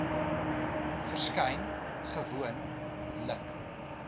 verskyn gewoon lik